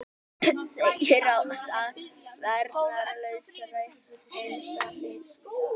Segir ráðist að æru varnarlausra einstaklinga